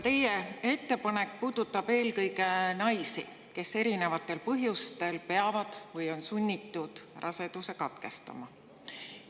Teie ettepanek puudutab eelkõige naisi, kes erinevatel põhjustel peavad või on sunnitud raseduse katkestama.